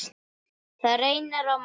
Það reynir á mann!